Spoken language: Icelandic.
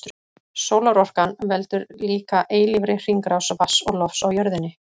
Sólarorkan veldur líka eilífri hringrás vatns og lofts á jörðinni.